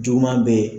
Juguman bɛ yen